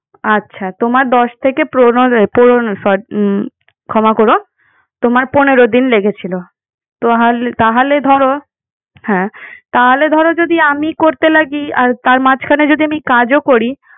আচ্ছা, তোমার দশ থেকে পনেরো, পুরনো সো উম ক্ষমা করো। তোমার পনেরো দিন লেগেছিল। তোহালে তাহলে ধরো। হ্যাঁ। তাহলে ধরো যদি আমি করতে লাগি আর তার মাঝখানে যদি আমি কাজও করি।